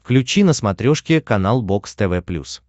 включи на смотрешке канал бокс тв плюс